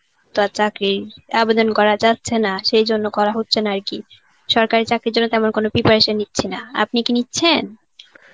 তো আর চাকরির আবেদন করা যাচ্ছে না সেই জন্য করা হচ্ছে না আর কি. সরকারি চাকরির জন্য তেমন কোনো preparation নিচ্ছি না, আপনি কি নিচ্ছেন?